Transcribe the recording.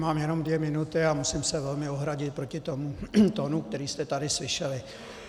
Mám jenom dvě minuty a musím se velmi ohradit proti tomu tónu, který jste tady slyšeli.